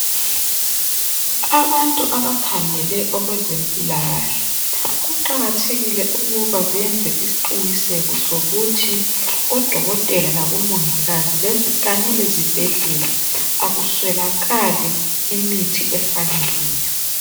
Abantu abakhangele okwezempilakahle. Kuqakathekile ukuba beyenze isiqiniseko sokuthi odokotela labomongikazi kanye lezi bhedlela akuswelakali imithi efaneleyo.